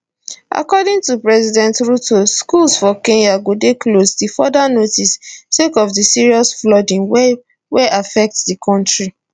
according to president ruto schools for kenya go dey closed till further notice sake of di serious flooding wey wey affect di kontri